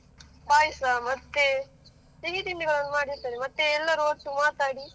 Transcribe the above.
ಪಾಯಸ, ಮತ್ತೆ ಸಿಹಿತಿಂಡಿಗಳನ್ನು ಮಾಡಿರ್ತಾರೆ ಮತ್ತೆ ಎಲ್ಲರು ಒಟ್ಟು ಮಾತಾಡಿ.